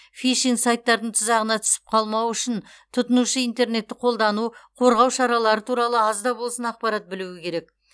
фишинг сайттардың тұзағына түсіп қалмау үшін тұтынушы интернетті қолдану қорғау шаралары туралы аз да болсын ақпарат білуі керек